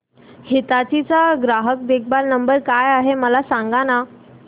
हिताची चा ग्राहक देखभाल नंबर काय आहे मला सांगाना